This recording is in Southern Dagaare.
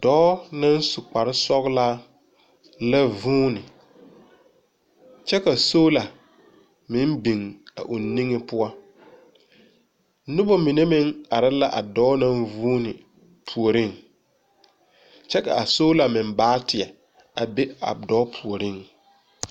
Dͻͻ naŋ su kpare-sͻgelaa la vuuni, kyԑ ka soola meŋ biŋ a o niŋe poͻ. Noba mine meŋ are la a dͻͻ naŋ vuuni puoriŋ, kyԑ ka a soola meŋ baateԑ a be a dͻͻ puoriŋ.